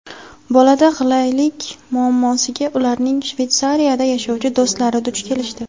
Bolada g‘ilaylik muammosiga ularning Shveytsariyada yashovchi do‘stlari duch kelishdi.